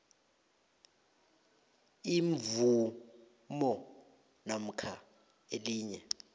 imvumo namkha elinye